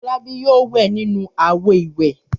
Fọlábí yóò wẹ̀ nínú àwo-ìwẹ̀!